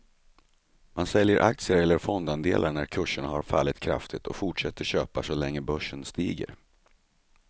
Man säljer aktier eller fondandelar när kurserna har fallit kraftigt och fortsätter köpa så länge börsen stiger.